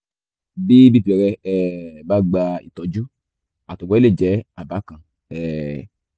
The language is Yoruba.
bí bp rẹ̀ um bá gba ìtọ́jú àtọ̀gbẹ lè jẹ́ àbá kan um